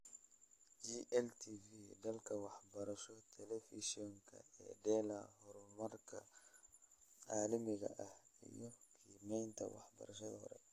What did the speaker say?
GLTV dalka Waxbarasho Telefiishanka IDELA Horumarka Caalamiga ah iyo Qiimaynta Waxbarashada Hore